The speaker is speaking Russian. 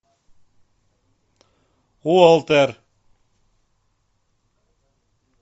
уолтер